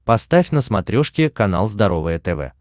поставь на смотрешке канал здоровое тв